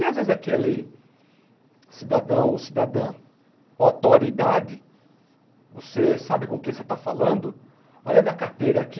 E às vezes aquele cidadão ou cidadã autoridade, você sabe com quem você está falando, olha a minha carteira aqui,